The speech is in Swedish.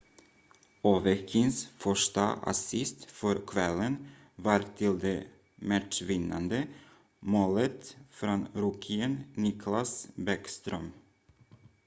ovechkins första assist för kvällen var till det matchvinnande målet från rookien nicklas bäckström